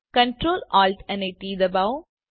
control Alt અને T દબાવો